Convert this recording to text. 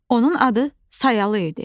Onun adı Sayalı idi.